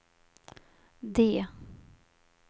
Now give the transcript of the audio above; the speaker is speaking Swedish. D